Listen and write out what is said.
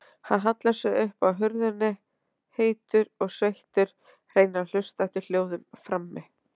Hann hallar sér upp að hurðinni, heitur og sveittur, reynir að hlusta eftir hljóðum frammi.